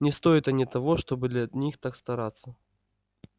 не стоят они того чтобы так для них стараться